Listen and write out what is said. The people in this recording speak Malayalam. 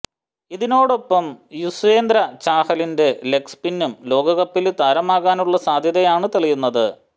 ഇതിനൊപ്പം യൂസ്വേന്ദ്ര ചാഹലിന്റെ ലെഗ് സ്പിന്നും ലോകകപ്പില് താരമാകാനുള്ള സാധ്യതയാണ് തെളിയുന്നത്